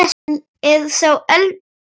Hann er sá eldri okkar.